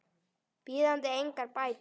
bíðandi engar bætur.